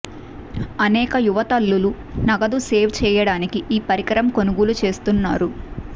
అనేక యువ తల్లులు నగదు సేవ్ చేయడానికి ఈ పరికరం కొనుగోలు చేస్తున్నారు